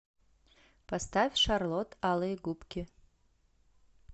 поставь шарлот алые губки